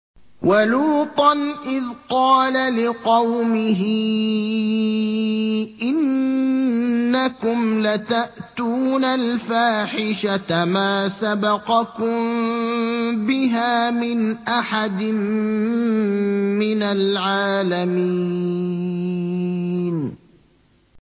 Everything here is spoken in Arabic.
وَلُوطًا إِذْ قَالَ لِقَوْمِهِ إِنَّكُمْ لَتَأْتُونَ الْفَاحِشَةَ مَا سَبَقَكُم بِهَا مِنْ أَحَدٍ مِّنَ الْعَالَمِينَ